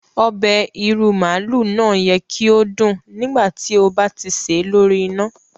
Obẹ̀ ìrú màálú náà yẹ ki o dún nígbàtí o ba ti ṣè lori ina.